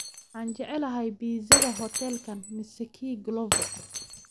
Waxaan jeclahay pizza-da huteelkan mise kii glovo